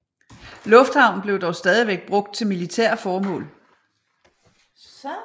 Lufthavnen blev dog stadigvæk brugt til militære formål